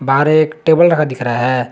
बाहर एक टेबल रखा दिख रहा है।